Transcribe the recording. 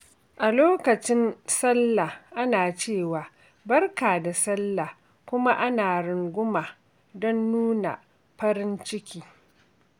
A lokacin Sallah, ana cewa “Barka da Sallah!”, kuma ana runguma don nuna farin ciki.